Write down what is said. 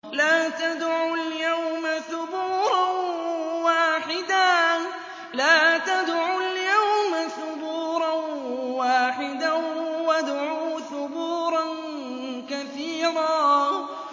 لَّا تَدْعُوا الْيَوْمَ ثُبُورًا وَاحِدًا وَادْعُوا ثُبُورًا كَثِيرًا